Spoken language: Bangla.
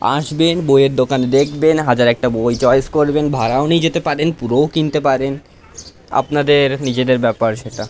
আসবেন বয়ের দোকান দেখবেন হাজার একটা বই চয়েস করবেন ভাড়াও নিয়ে যেতে পারেন পুরোও কিনতে পারেন আপনাদের নিজের বেপার সেটা।